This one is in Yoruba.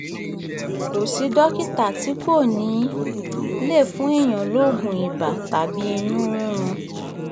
kò sì dókítà tí kò ní í um lè fún èèyàn lóògùn ibà um tàbí inú rírun